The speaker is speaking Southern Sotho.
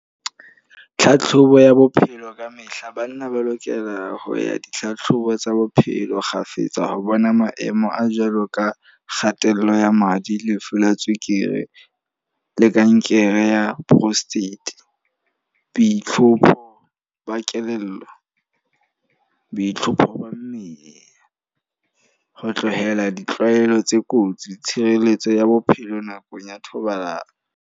Tlhatlhobo ya bophelo ka mehla. Banna ba lokela ho ya ditlhatlhobo tsa bophelo kgafetsa. Ho bona maemo a jwalo ka kgatello ya madi, lefu la tswekere le kankere ya prostate, boitlhompho ba kelello, boitlhompho ba mmele. Ho tlohela ditlwaelo tse kotsi, tshireletso ya bophelo nakong ya thobalano.